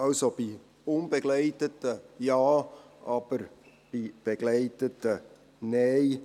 Also: Bei unbegleiteten Minderjährigen Ja, aber bei begleiteten Nein.